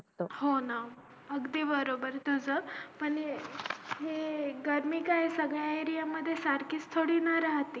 हो ना अगदी बरोबर तुझं पण हे पण हे गर्मी काय सगळ्या area मध्ये सारखी थोडी राहते